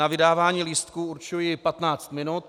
Na vydávání lístků určuji 15 minut.